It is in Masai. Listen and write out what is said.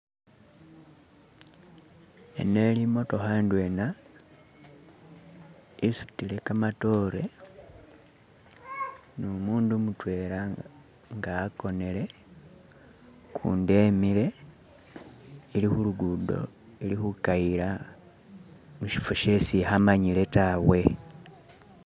Eno eli imotokha indwena isutile kamatore numundu mutela nga akonele, ukundi emile, ili kulukudo ili khukayila mushifo shesi ikhamanyila tawa.